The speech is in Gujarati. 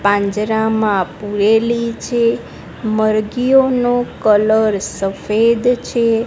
પાંજરામાં પુરેલી છે મરઘીઓનો કલર સફેદ છે.